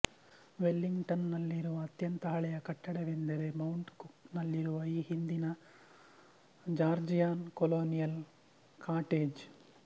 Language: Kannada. ವೆಲ್ಲಿಂಗ್ಟನ್ ನಲ್ಲಿರುವ ಅತ್ಯಂತ ಹಳೆಯ ಕಟ್ಟಡವೆಂದರೆ ಮೌಂಟ್ ಕುಕ್ ನಲ್ಲಿರುವ ಈ ಹಿಂದಿನ ಜಾರ್ಜಿಯನ್ ಕಲೋನಿಯಲ್ ಕಾಟೇಜ್